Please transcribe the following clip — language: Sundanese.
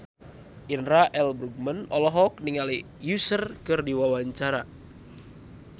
Indra L. Bruggman olohok ningali Usher keur diwawancara